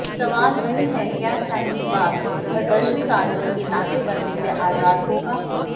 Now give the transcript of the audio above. सवाल वहीं है क्या शाहीन बाग प्रदर्शनकारियों के नाके बंदी से आजाद होगा